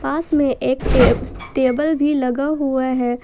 पास में एक टेबल भी लगा हुआ है।